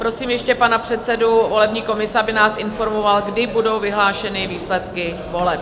Prosím ještě pana předsedu volební komise, aby nás informoval, kdy budou vyhlášeny výsledky voleb.